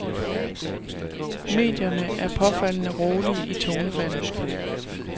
Medierne er påfaldende rolige i tonefaldet.